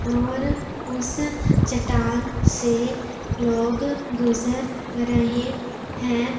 और उस चट्टान से लोग गुजर रहे है।